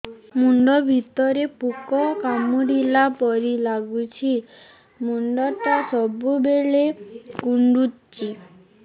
ମୁଣ୍ଡ ଭିତରେ ପୁକ କାମୁଡ଼ିଲା ପରି ଲାଗୁଛି ମୁଣ୍ଡ ଟା ସବୁବେଳେ କୁଣ୍ଡୁଚି